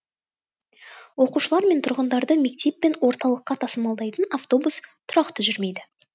оқушылар мен тұрғындарды мектеп пен орталыққа тасымалдайтын автобус тұрақты жүрмейді